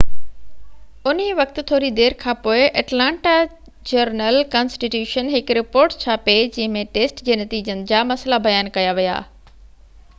انهيءِ وقت ٿوري دير کانپوءِ اٽلانٽا جرنل ڪانسٽي ٽيوشن هڪ رپورٽ ڇاپي جنهن ۾ ٽيسٽ جي نتيجن جا مسئلا بيان ڪيا ويا